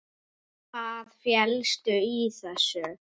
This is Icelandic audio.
Hvað felst í þessu?